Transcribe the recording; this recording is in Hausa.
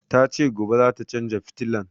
Ta ce gobe zata canza fitilan